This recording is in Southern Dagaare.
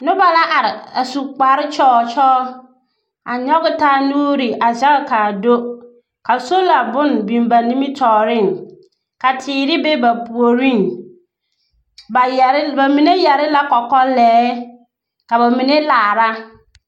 Noba la are a su kpare kyɔɔ kyɔɔ a nyɔge taa nuuri a zɛge ka do ka sola bone biŋ ba nimitɔɔreŋ ka teer be ba puoriŋ. bayɛre, ba mine yere la kɔkɔlɛɛ ka bamine laara.